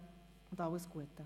Danke und alles Gute.